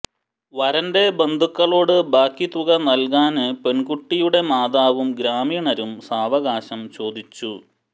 വരന്റെ ബന്ധുക്കളോട് ബാക്കി തുക നല്കാന് പെണ്കുട്ടിയുടെ മാതാവും ഗ്രാമീണരും സാവകാശം ചോദിച്ചു